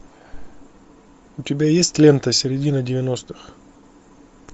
у тебя есть лента середина девяностых